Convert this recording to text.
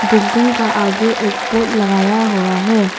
Building का आगे एक पोल लगाया हुआ है।